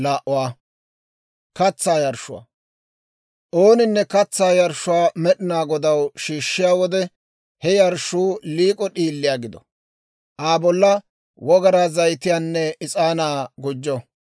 « ‹Ooninne katsaa yarshshuwaa Med'inaa Godaw shiishshiyaa wode, he yarshshuu liik'o d'iiliyaa gido; Aa bolla wogaraa zayitiyaanne is'aanaa gujjo.